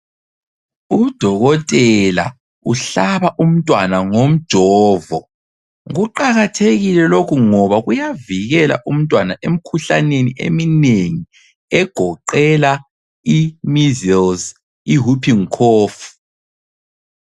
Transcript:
Udokotela uhlaba umntwana ngomjovo, kuqakathekile lokhu ngoba kuyavikela umntwana emkhuhlaneni eminengi, egoqela imeasels, ihooping cough.